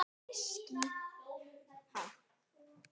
klapp, klapp, klapp, Ísland!